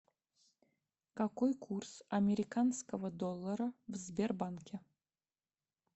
какой курс американского доллара в сбербанке